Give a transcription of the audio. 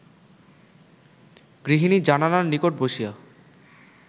গৃহিণী জানালার নিকট বসিয়া